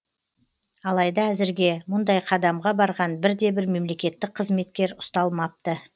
алайда әзірге мұндай қадамға барған бір де бір мемлекеттік қызметкер ұсталмапты